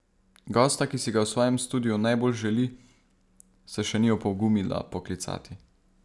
Gosta, ki si ga v svojem studiu najbolj želi, se še ni opogumila poklicati.